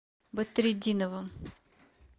бадретдиновым